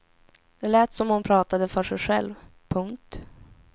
Det lät som om hon pratade för sig själv. punkt